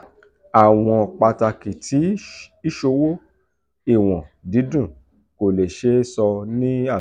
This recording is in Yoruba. awọn pataki ti iṣowo iwọn didun ko le se e so ni asoju.